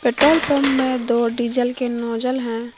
Petrol pump में दो diesel के नोजल हैं।